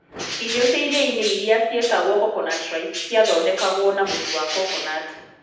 Irio cia iria-inĩ iria cietagwo coconut rice ciathondekagwo na mũtu wa coconut.